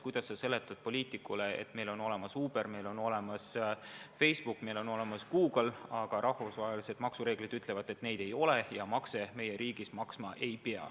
Kuidas sa seletad poliitikule, et meil on olemas Uber, meil on olemas Facebook, meil on olemas Google, aga rahvusvahelised maksureeglid ütlevad, et neid ei ole ja makse meie riigis nad maksma ei pea.